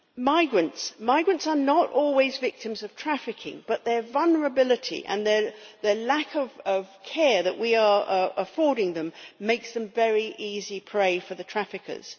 Migrants migrants are not always victims of trafficking but their vulnerability and the lack of care that we are affording them make them very easy prey for the traffickers.